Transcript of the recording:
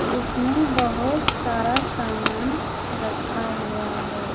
जिसमें बहोत सारा सामान रखा हुआ है।